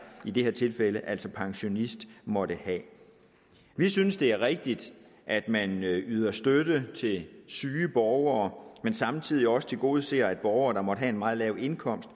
i det her tilfælde altså pensionisten måtte have vi synes det er rigtigt at man yder støtte til syge borgere men samtidig også tilgodeser borgere der måtte have en meget lav indkomst